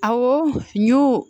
Awɔ n y'u